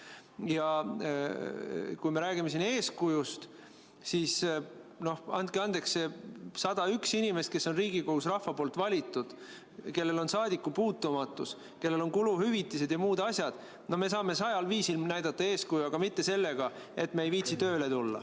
Ja kui me räägime siin eeskujust, siis andke andeks, aga need 101 inimest, kelle rahvas on Riigikokku valinud, kellel on saadikupuutumatus, kellel on kuluhüvitised ja muud asjad – no me saame sajal viisil näidata eeskuju, aga mitte sellega, et me ei viitsi tööle tulla.